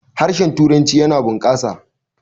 harshen turanci yana bukasa